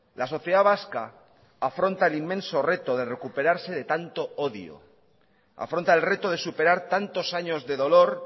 la sociedad vasca afronta el inmenso reto de recuperarse de tanto odio afronta el reto de superar tantos años de dolor